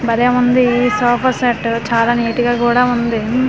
బలేవుంది ఈ sofa set చాలా neat గా కూడా ఉంది.